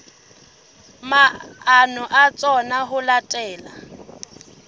maano a tsona ho latela